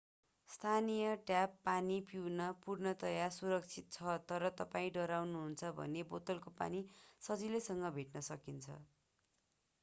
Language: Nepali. स्थानीय ट्याप पानी पिउन पूर्णतया सुरक्षित छ तर तपाईं डराउनुहुन्छ भने बोतलको पानी सजिलैसँग भेट्न सकिन्छ